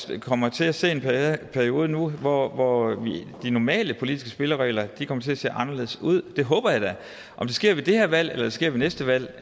vi kommer til at se en periode nu hvor hvor de normale politiske spilleregler kommer til at se anderledes ud det håber jeg da om det sker ved det her valg eller om det sker ved næste valg